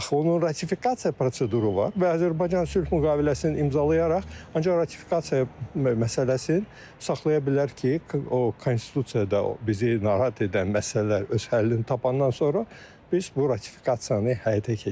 Axı onun ratifikasiya proseduru var və Azərbaycan sülh müqaviləsinin imzalayaraq, ancaq ratifikasiya məsələsini saxlaya bilər ki, o konstitusiyada bizi narahat edən məsələlər öz həllini tapandan sonra biz bu ratifikasiyanı həyata keçirək.